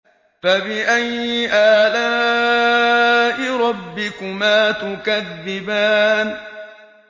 فَبِأَيِّ آلَاءِ رَبِّكُمَا تُكَذِّبَانِ